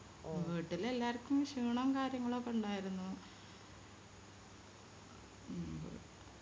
വീട്ടില് എല്ലാരിക്കും ക്ഷീണം കാര്യങ്ങളൊക്കെ ഇണ്ടായിരുന്നു ഉം